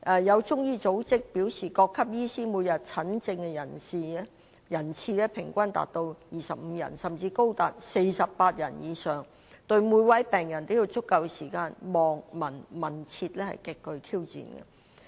有中醫組織表示各級醫師每天診症人次平均達到25人，甚至高達48人以上，要對每位病人都有足夠時間"望、聞、問、切"，可謂極具挑戰。